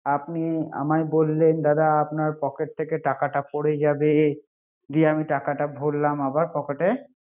আপনি আমায় বললেন দাদা আমার পকেট থেকে টাকাটা পরে যাবে। জি আমি টাকাটা ভরলাম আবার পকেটে